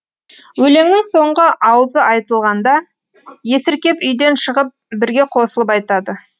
өлеңнің соңғы ауызы айтылғанда есіркеп үйден шығып бірге қосылып айтады